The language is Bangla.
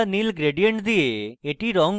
হালকা নীল gradient দিয়ে এটি রঙ করুন